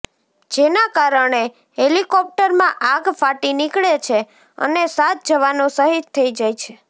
જેના કારણે હેલિકોપ્ટરમાં આગ ફાટી નીકળે છે અને સાત જવાનો શહિદ થઈ જાય છે